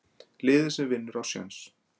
Liðið sem að vinnur á séns.